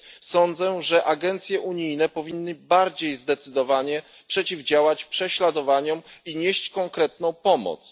Sądzę, że agencje unijne powinny bardziej zdecydowanie przeciwdziałać prześladowaniom i nieść konkretną pomoc.